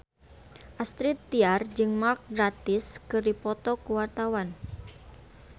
Astrid Tiar jeung Mark Gatiss keur dipoto ku wartawan